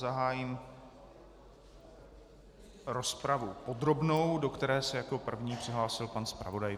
Zahájím rozpravu podrobnou, do které se jako první přihlásil pan zpravodaj.